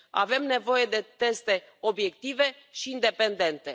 Avem nevoie de teste obiective și independente.